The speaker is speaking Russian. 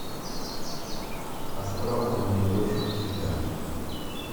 астрал ты найдешь у себя